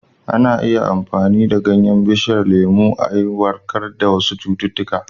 Ana iya amfani da ganyen bishiyar lemu a yi maganin warkar da wasu cututtuka.